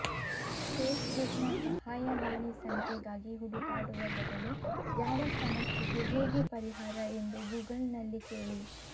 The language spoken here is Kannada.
ಫೇಸ್ಬುಕ್ನ ಸಹಾಯವಾಣಿ ಸಂಖ್ಯೆಗಾಗಿ ಹುಡುಕಾಡುವ ಬದಲು ಯಾವ ಸಮಸ್ಯೆಗೆ ಹೇಗೆ ಪರಿಹಾರ ಎಂದು ಗೂಗಲ್ನಲ್ಲಿ ಕೇಳಿ